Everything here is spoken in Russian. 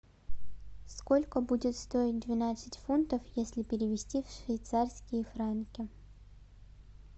сколько будет стоить двенадцать фунтов если перевести в швейцарские франки